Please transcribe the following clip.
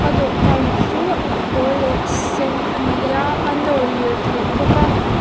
a dawhkan chuh a pawl leh sen a ni a a nawr lirh theih bawk a.